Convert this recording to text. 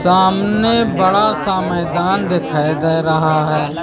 सामने बड़ा सा मैदान दिखाई दे रहा है।